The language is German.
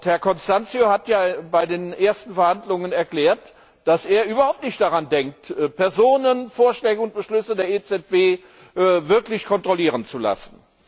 Herr Constâncio hat ja bei den ersten Verhandlungen erklärt, dass er überhaupt nicht daran denkt, Personen, Vorschläge und Beschlüsse der EZB wirklich kontrollieren zu lassen.